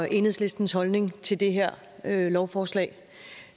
enhedslistens holdning til det her lovforslag